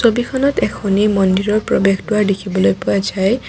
ছবিখনত এখনি মন্দিৰৰ প্ৰৱেশ দুৱাৰ দেখিবলৈ পোৱা যায়।